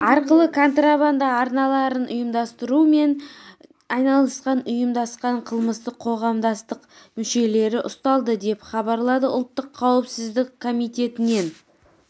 арқылы контрабанда арналарын ұйымдастырумен айналысқан ұйымдасқан қылмыстық қоғамдастық мұшелері ұсталды деп хабарлады ұлттық қауіпсіздік комитетінен